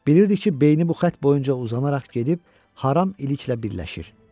Bilirdi ki, beyni bu xətt boyunca uzanaraq gedib haram iliklə birləşir.